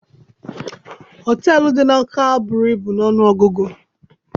Họteelụ dị n'Ọka buru ibu n'ọnụ ọgụgụ.